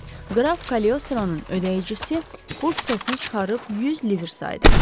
Qraf Kaliostronun ödəyicisi pul kisəsini çıxarıb 100 lir saydı.